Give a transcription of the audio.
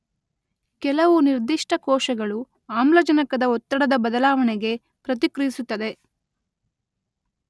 ಕೆಲವು ನಿರ್ದಿಷ್ಟ ಕೋಶಗಳು ಆಮ್ಲಜನಕದ ಒತ್ತಡದ ಬದಲಾವಣೆಗೆ ಪ್ರತಿಕ್ರಿಯಿಸುತ್ತದೆ.